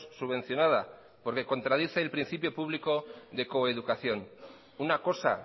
subvencionada porque contradice el principio público de coeducación una cosa